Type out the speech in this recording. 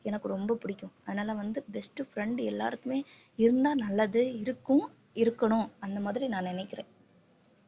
எனக்கு ரொம்ப பிடிக்கும் அதனால வந்து best friend எல்லாருக்குமே இருந்தா நல்லது இருக்கும் இருக்கணும் அந்த மாதிரி நான் நினைக்கிறேன்